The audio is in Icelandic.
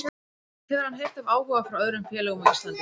Hefur hann heyrt af áhuga frá öðrum félögum á Íslandi?